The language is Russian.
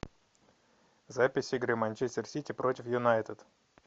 запись игры манчестер сити против юнайтед